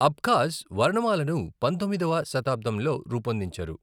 Abkhaz వర్ణమాలను పంతొమ్మిదవ శతాబ్దంలో రూపొందించారు.